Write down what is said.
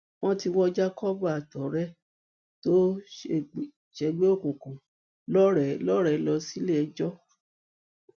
wọn ti wọ jacob àtọrẹ ẹ tó ń ṣègbè òkùnkùn lọrẹ lọ síléẹjọ